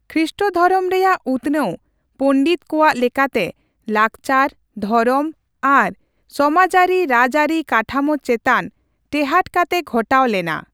ᱠᱷᱤᱥᱴᱫᱷᱚᱨᱚᱢ ᱨᱮᱭᱟᱜ ᱩᱛᱱᱟᱹᱣ, ᱯᱚᱱᱰᱤᱛ ᱠᱚᱣᱟᱜ ᱞᱮᱠᱟᱛᱮ, ᱞᱟᱠᱪᱟᱨᱹ ᱫᱷᱚᱨᱚᱢ ᱟᱨ ᱥᱚᱢᱟᱟᱹᱨᱤᱼᱨᱟᱡᱽᱟᱹᱨᱤ ᱠᱟᱴᱷᱟᱢᱳ ᱪᱮᱛᱟᱱ ᱴᱮᱦᱟᱸᱴ ᱠᱟᱛᱮ ᱜᱷᱚᱴᱟᱣ ᱞᱮᱱᱟ ᱾